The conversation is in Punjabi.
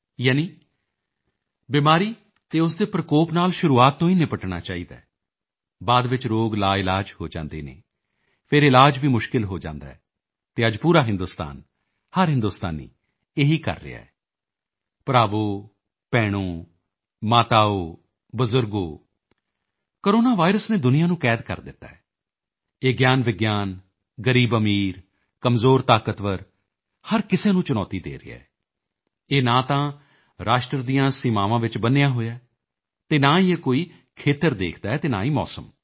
ਯਾਨੀ ਬਿਮਾਰੀ ਅਤੇ ਉਸ ਦੇ ਪ੍ਰਕੋਪ ਨਾਲ ਸ਼ੁਰੂਆਤ ਤੋਂ ਹੀ ਨਿਪਟਣਾ ਚਾਹੀਦੈ ਬਾਅਦ ਵਿੱਚ ਰੋਗ ਲਾਇਲਾਜ ਹੋ ਜਾਂਦੇ ਹਨ ਫਿਰ ਇਲਾਜ ਵੀ ਮੁਸ਼ਕਿਲ ਹੋ ਜਾਂਦਾ ਹੈ ਅਤੇ ਅੱਜ ਪੂਰਾ ਹਿੰਦੁਸਤਾਨ ਹਰ ਹਿੰਦੁਸਤਾਨੀ ਇਹੀ ਕਰ ਰਿਹਾ ਹੈ ਭਰਾਵੋ ਭੈਣੋ ਮਾਤਾਓ ਬਜ਼ੁਰਗੋ ਕੋਰੋਨਾ ਵਾਇਰਸ ਨੇ ਦੁਨੀਆਂ ਨੂੰ ਕੈਦ ਕਰ ਦਿੱਤਾ ਹੈ ਇਹ ਗਿਆਨਵਿਗਿਆਨ ਗ਼ਰੀਬਅਮੀਰ ਕਮਜ਼ੋਰਤਾਕਤਵਰ ਹਰ ਕਿਸੇ ਨੂੰ ਚੁਣੌਤੀ ਦੇ ਰਿਹਾ ਹੈ ਇਹ ਨਾ ਤਾਂ ਰਾਸ਼ਟਰ ਦੀਆਂ ਸੀਮਾਵਾਂ ਵਿੱਚ ਬੰਨ੍ਹਿਆ ਹੋਇਆ ਹੈ ਨਾ ਹੀ ਇਹ ਕੋਈ ਖੇਤਰ ਦੇਖਦਾ ਹੈ ਨਾ ਹੀ ਮੌਸਮ